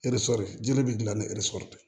jeli bɛ dilan ni tɛ